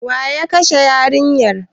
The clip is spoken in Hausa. Waye ya kashe yarinyar?